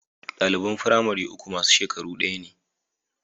Ɗaliban firamare uku masu shekaru ɗaya ne